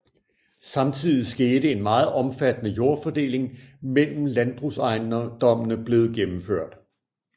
Samtidig skete en meget omfattende jordfordeling mellem landbrugsejendommene blevet gennemført